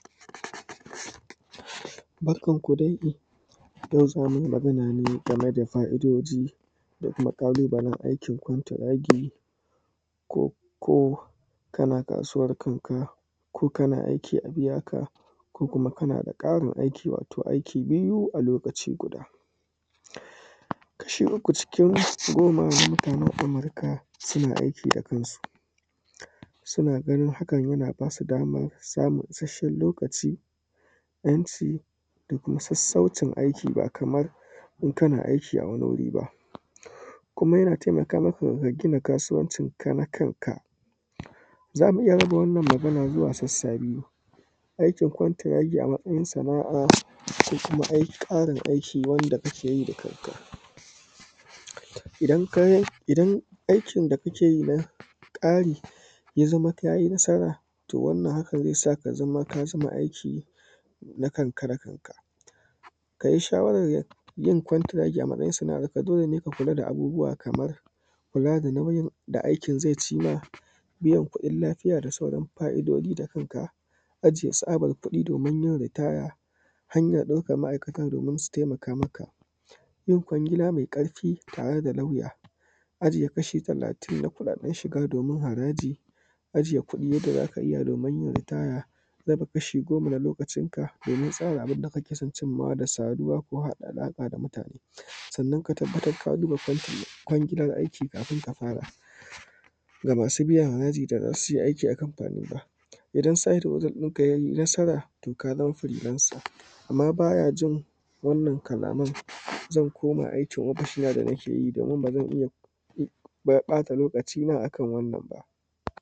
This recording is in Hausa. Barkanku dai yau za mu yi magana ne game da fa’idoji da kuma ƙalubalen aikin kwantiragi ko kana kasuwar kanka ko kana aiki a iyaka ko kuma kana da ƙarin aiki wato aiki biyu a lokaci guda, kashi uku cikin goma mutanen Amurka suna aiki da kansu, suna ganin hakan yana ba su daman samun isashshen lokaci, ‘yanci da kuma sassacin aiki ba kamar in kana aiki a wani wuri ba, kuma yana taimaka maka ka gina kasuwancinka na kanka, za mu iya raba wannan magana zuwa sassa biyu. Aikin kwantiragi a matsayin sana’a